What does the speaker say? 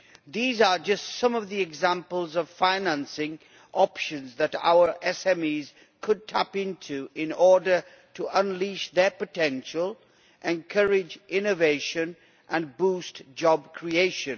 These are just some of the examples of financing options that our SMEs could tap into in order to unleash their potential, encourage innovation and boost job creation.